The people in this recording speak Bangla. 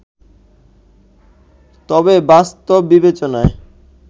তবেবাস্তব বিবেচনায়